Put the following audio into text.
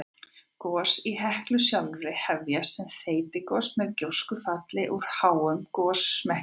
Gos í Heklu sjálfri hefjast sem þeytigos með gjóskufalli úr háum gosmekki.